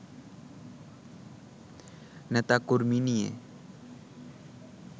নেতা-কর্মী নিয়ে